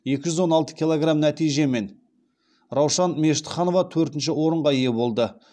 екі жүз он алты килограм нәтижемен раушан мешітханова төртінші орынға ие болды